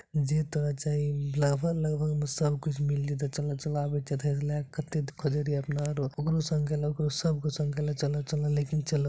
जे ते जाय लगभग लगभग में सब कुछ मिल जेतो चला चला आबे छीये एथा से लाके कते खोजे रहिए अपना आरो ओकरो संग काय ला ओकरो सब के संग काय ला चला चला लेकिन चला ।